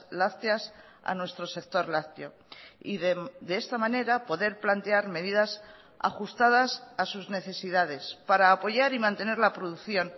lácteas a nuestro sector lácteo y de esta manera poder plantear medidas ajustadas a sus necesidades para apoyar y mantener la producción